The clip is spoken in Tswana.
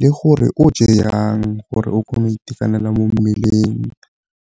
le gore o je yang gore o kgone go itekanela mo mmeleng.